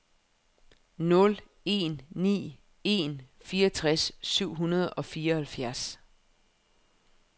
nul en ni en fireogtres syv hundrede og fireoghalvfjerds